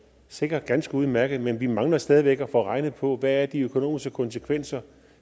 sikkert er ganske udmærkede men vi mangler stadig væk at få regnet på hvad de økonomiske konsekvenser